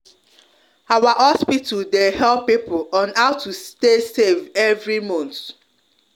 our hospital de help people on how to stay safe every month